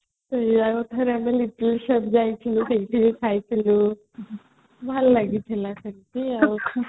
ସେଇୟା କଥାରେ ଆମେ little shop ଯାଇଥିଲୁ ସେଠି ଖାଇଥିଲୁ ଭଲ ଲାଗିଥିଲା ସେଠି